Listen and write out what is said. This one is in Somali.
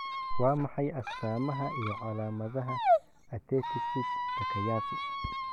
Waa maxay astamaha iyo calaamadaha Arteritis Takayasu?